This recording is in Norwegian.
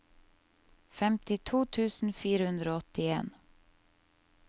femtito tusen fire hundre og åttien